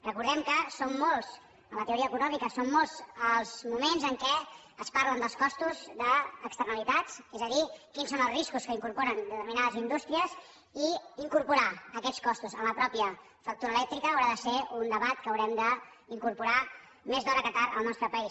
recordem que en la teoria econòmica són molts els moments en què es parla dels costos d’externalitats és a dir quins són els riscos que incorporen determinades indústries i incorporar aquests costos en la mateixa factura elèctrica haurà de ser un debat que haurem d’incorporar més d’hora que tard al nostre país